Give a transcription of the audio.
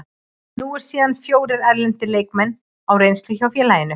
Nú eru síðan fjórir erlendir leikmenn á reynslu hjá félaginu.